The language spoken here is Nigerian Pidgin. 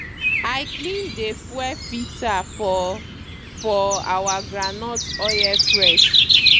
i clean dey fuel filter for for our groundnut oil press